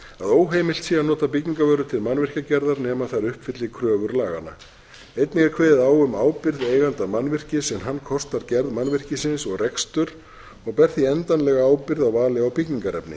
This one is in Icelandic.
óheimilt sé að nota byggingarvörur til mannvirkjagerðar nema þær uppfylli kröfur laganna einnig er kveðið á um ábyrgð eiganda mannvirkis en hann kostar gerð mannvirkisins og rekstur og ber því endanlega ábyrgð á vali á byggingarefni